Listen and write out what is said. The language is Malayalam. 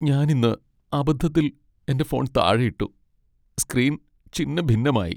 ഞാൻ ഇന്ന് അബദ്ധത്തിൽ എന്റെ ഫോൺ താഴെ ഇട്ടു , സ്ക്രീൻ ഛിന്നഭിന്നമായി.